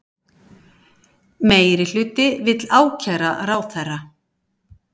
Meirihluti vill ákæra ráðherra